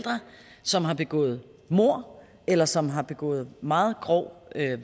som har begået mord eller som har begået meget grov